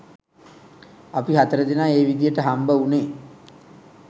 අපි හතර දෙනා ඒ විදිහට හම්බ වුණේ